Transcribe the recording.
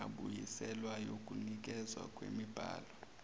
engabuyiselwa yokunikezwa kwemibhalo